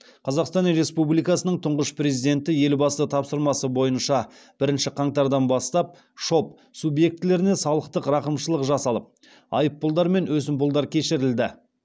қазақстан республикасының тұңғыш президенті елбасы тапсырмасы бойынша бірінші қаңтардан бастап шоб субъектілеріне салықтық рақымшылық жасалып айыппұлдар мен өсімпұлдар кешірілді